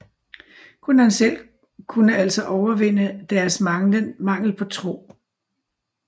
Kun han selv kunne altså overvinde deres mangel på tro